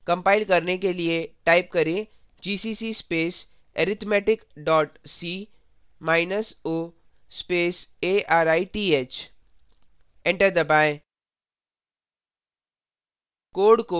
compile करने के लिए टाइप करें gcc space arithmetic dot c minus o space arith enter दबाएँ